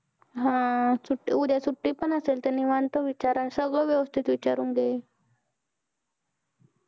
अह उद्या सुट्टी पण असेल निवांत विचार आणि सगळं वेवस्तीत विचारून घे